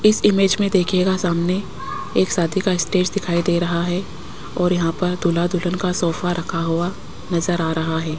इस इमेज में देखिएगा सामने एक शादी का स्टेज दिखाई दे रहा है और यहां पर दूल्हा दुल्हन का सोफा रखा हुआ नजर आ रहा है।